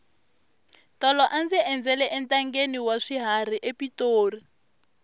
tolo a ndzi endzela entangheni wa swiharhi epitori